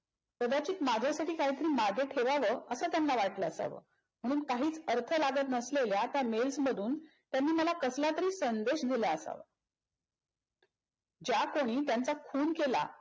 कदाचीत माझ्यासाठी काहीतरी मागे ठेवाव अस त्यांना वाटल असाव म्हणून काहीच अर्थ लागत नसलेल्या त्या mails मधून त्यांनी मला कसलातरी संदेश दिला असावा. ज्या कुणी त्यांचा खून केला